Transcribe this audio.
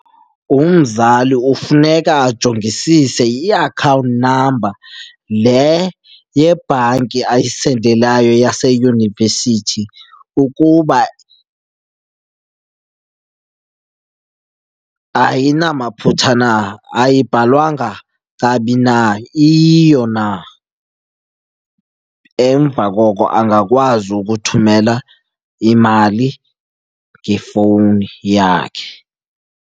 Umzali ufuneka ajongisise iakhawunti number le yebhanki ayisendelayo yaseyunivesithi ukuba ayinamaphutha na, ayibhalwanga kabi na, iyiyo na. Emva koko angakwazi ukuthumela imali ngefowuni yakhe.